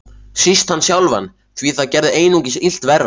Síst hann sjálfan, því það gerði einungis illt verra.